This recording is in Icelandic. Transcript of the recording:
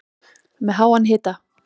Með háan hita